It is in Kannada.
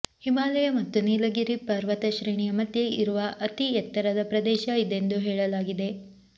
ಹಿಮಾಲಯ ಮತ್ತು ನೀಲಗಿರಿ ಪರ್ವತಶ್ರೇಣಿಯ ಮಧ್ಯೆ ಇರುವ ಅತಿ ಎತ್ತರದ ಪ್ರದೇಶ ಇದೆಂದು ಹೇಳಲಾಗಿದೆ